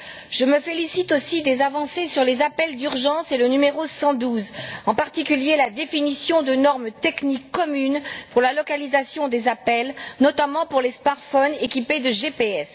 Je me félicite aussi des avancées sur les appels d'urgence et le numéro 112, en particulier la définition de normes techniques communes pour la localisation des appels, notamment pour les smartphones équipés de GPS.